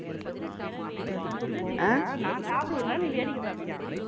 இல்ல ஜீவிதா நான் சாப்பிடுவேனாம் நீ வேடிக்கை பார்ப்பியாம்